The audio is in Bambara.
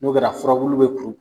N'o be na furabulu dɔ